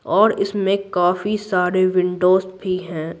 और इसमें काफी सारे विंडोस भी हैं।